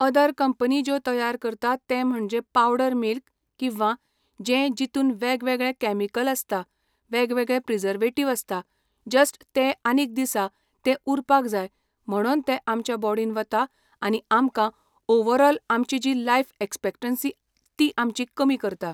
other company ज्यो तयार करता ते म्हणजे पावडर मिल्क किंवा जे जितुन वेगवेगळे कॅमिकल आसता वेगवेगळे प्रिजवेटिव आसता जस्ट ते आनीक दिसा ते उरपाक जाय म्हणोन ते आमच्या बोडिन वता आनी आमकां ओवरोल आमची जी लायफ एक्सपेक्टेन्सी ती आमची कमी करता